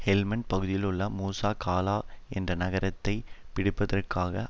Helmand பகுதியிலுள்ள Musa Qala என்ற நகரத்தை பிடிப்பதற்காக